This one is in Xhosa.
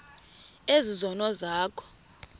ezi zono zakho